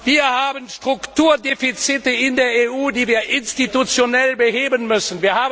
Wir haben Strukturdefizite in der EU, die wir institutionell beheben müssen.